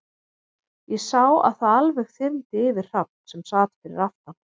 Ég sá að það alveg þyrmdi yfir Hrafn, sem sat fyrir aftan